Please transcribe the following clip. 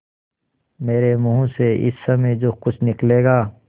मेरे मुँह से इस समय जो कुछ निकलेगा